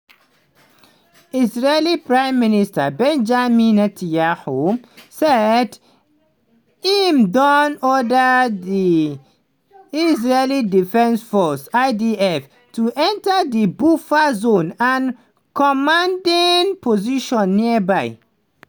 israeli prime minister benjamin netanyahu say im don order di israel defense forces (idf) to enter di buffer zone and "commanding positions nearby".